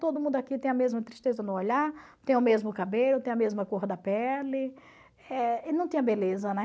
Todo mundo aqui tem a mesma tristeza no olhar, tem o mesmo cabelo, tem a mesma cor da pele, eh e não tinha beleza, né?